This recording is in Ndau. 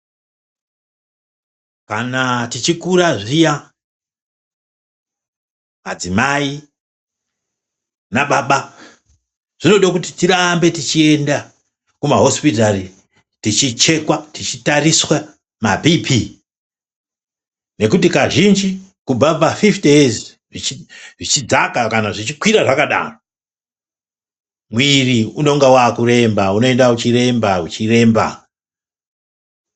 Kana tichikura zviya, adzimai nababa zvinode kuti tirambe tichienda kumahosipitari tichichekwa tichitariswa maBP nekuti kazhinji kubva pafifiti yezi zvichidzaka kana zvichikwira zvakadaro mwiri unonga wakuremba, unoenda uchiremba uchiremba.